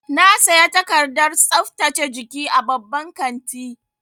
Na saya takardar tsaftace jiki a babban kanti.